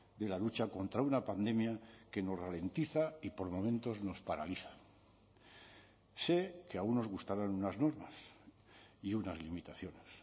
de la lucha contra una pandemia que nos ralentiza y por momentos nos paraliza sé que a unos gustarán unas normas y unas limitaciones